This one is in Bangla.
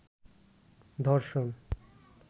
র্ধষণ